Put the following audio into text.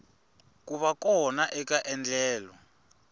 ku va kona eka endlelo